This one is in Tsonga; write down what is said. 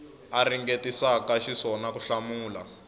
a ringetisaka xiswona ku hlamula